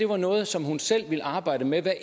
var noget som hun selv ville arbejde med hver